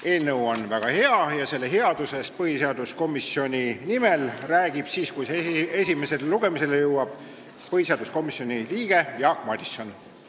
Eelnõu on väga hea ja selle headusest räägib põhiseaduskomisjoni nimel siis, kui see esimesele lugemisele jõuab, komisjoni liige Jaak Madison.